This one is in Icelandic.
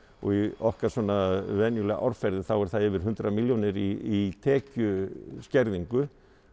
okkar svona venjulega árferði þá er það yfir hundrað milljónir í tekjuskerðingu